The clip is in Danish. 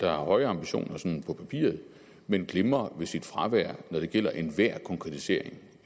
har høje ambitioner men glimrer ved sit fravær når det gælder enhver konkretisering